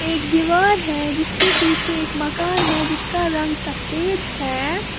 एक दीवार है जिसके पीछे एक मकान है जिसका रंग सफेद है।